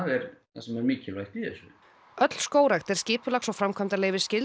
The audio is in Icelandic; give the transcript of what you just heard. sem er mikilvægt í þessu öll skógrækt er skipulags og